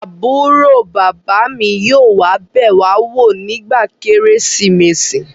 Àbúrò bàbá mi yóò wá bẹ̀ wá wò nígbà kérésìmesì